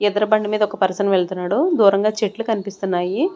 ఎదుర్బండి మీద ఒక పర్సన్ వెళ్తున్నాడు దూరంగా చెట్లు కన్పిస్తున్నాయి.